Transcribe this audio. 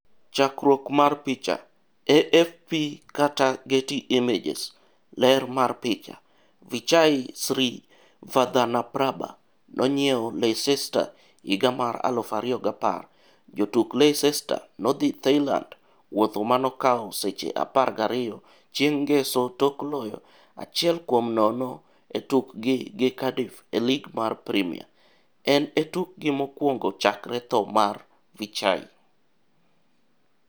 Chakruok mar picha, AFP/Getty Images Ler mar picha, Vichai Srivaddhanaprabha nonyiew Leicester higa mar 2010 Jotuk Leicester no dhi Thailand wuotho manokawo seche 12 chieng' ngeso tok loyo 1-0 e tukgi gi Cardiff e lig mar Premier, en e tukgi mokwongo chakre thoo mar Vichai.